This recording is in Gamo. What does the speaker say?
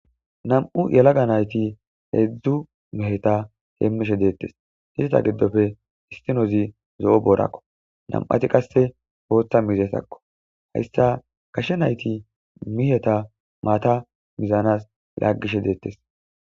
Nam'u yeelaga naytti hezhzhu meehetta hemishshe dettes iizetta giidoppe issinozi zo'o boorakko nam'atti qasseka booththa miizattako issitta gashshe naytti miizatta maata miizanas laagishshe dettes.